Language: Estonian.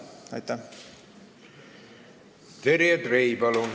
Terje Trei, palun!